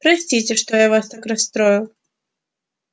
простите что я вас так расстроил